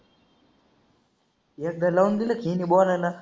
एकदा लावून दिलं की मी बोलायला.